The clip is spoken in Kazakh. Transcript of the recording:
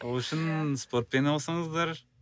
ол үшін спортпен айналысыңыздар